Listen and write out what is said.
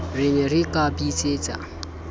ne re ka ra bitsetsa